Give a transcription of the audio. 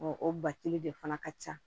O o batili de fana ka ca